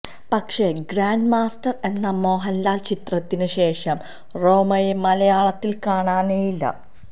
പക്ഷേ grand master എന്ന മോഹന്ലാല് ചിത്രത്തിന് ശേഷം റോമയെ മലയാളത്തില് കാണാനേയില്ല